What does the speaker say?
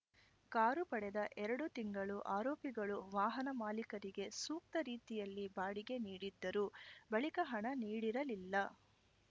car ಪಡೆದ ಎರಡು ತಿಂಗಳು ಆರೋಪಿಗಳು ವಾಹನ ಮಾಲಿಕರಿಗೆ ಸೂಕ್ತ ರೀತಿಯಲ್ಲಿ ಬಾಡಿಗೆ ನೀಡಿದ್ದರು ಬಳಿಕ ಹಣ ನೀಡಿರಲಿಲ್ಲ